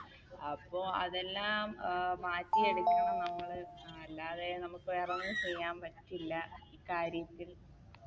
അപ്പൊ അതെല്ലാം അഹ് മാറ്റിയെടുക്കണം നമ്മള് അല്ലാതെ നമുക്ക് വേറൊന്നും ചെയ്യാൻ പറ്റില്ല ഈ കാര്യത്തിൽ